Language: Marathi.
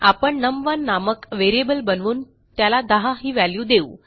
आपण num1नामक व्हेरिएबल बनवून त्याला 10ही वॅल्यू देऊ